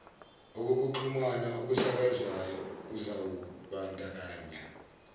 okokuxhumana okusakazwayo uzawubandakanya